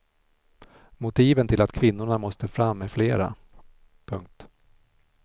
Motiven till att kvinnorna måste fram är flera. punkt